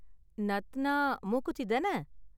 நாத்னா மூக்குத்தி தான?